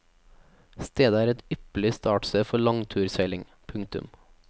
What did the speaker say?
Stedet er et ypperlig startsted for langturseiling. punktum